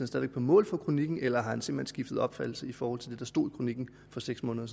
stadig på mål for kronikken eller har han simpelt hen skiftet opfattelse i forhold til det der stod i kronikken for seks måneder